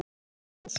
En ekki var svo.